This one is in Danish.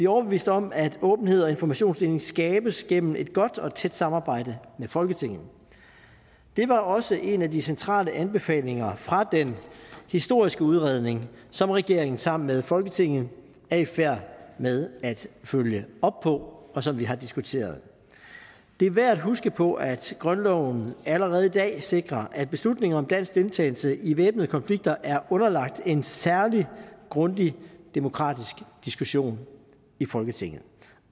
overbeviste om at åbenhed og informationsdeling skabes gennem et godt og tæt samarbejde med folketinget det var også en af de centrale anbefalinger fra den historiske udredning som regeringen sammen med folketinget er i færd med at følge op på og som vi har diskuteret det er værd at huske på at grundloven allerede i dag sikrer at beslutninger om dansk deltagelse i væbnede konflikter er underlagt en særlig grundig demokratisk diskussion i folketinget